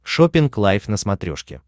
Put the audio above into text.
шоппинг лайв на смотрешке